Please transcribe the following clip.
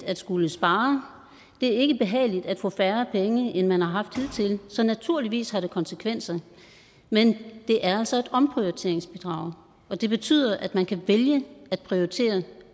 at skulle spare det er ikke behageligt at få færre penge end man har haft hidtil så naturligvis har det konsekvenser men det er altså et omprioriteringsbidrag og det betyder at man kan vælge at prioritere